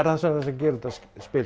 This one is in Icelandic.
gerir þetta spil